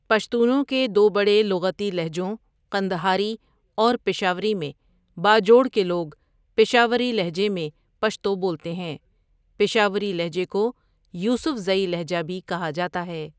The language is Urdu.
پشتونوں کے دو بڑے لغتی لہجوں ، قندہاری ،اور ،پشاوری ، میں باجوڑ کے لوگ پشاوری لھجے میں پشتو بولتے ہیں پشاوری لہجے کو یوسفزئی لہجہ بھی کہا جاتا ہے